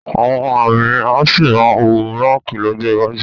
Àwọn amí a sì máa wọ báǹkì lọ́jọ́ iwájú